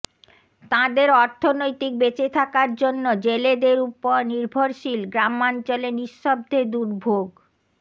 তাদের অর্থনৈতিক বেঁচে থাকার জন্য জেলেদের উপর নির্ভরশীল গ্রামাঞ্চলে নিঃশব্দে দুর্ভোগ